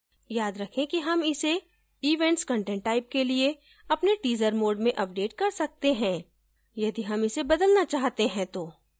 याद रखें कि हम इसे events content type के लिए अपने teaser mode में अपडेट कर सकते हैं यदि हम इसे बदलना चाहते हैं तो